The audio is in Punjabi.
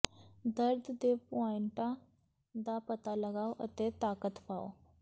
ਦਰਦ ਦੇ ਪੁਆਇੰਟਾਂ ਦਾ ਪਤਾ ਲਗਾਓ ਅਤੇ ਤਾਕਤ ਪਾਓ